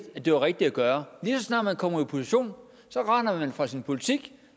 og det rigtige at gøre lige så snart man kommer i opposition render man fra sin politik